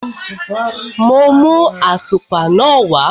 Mo mú àtùpa náà wá.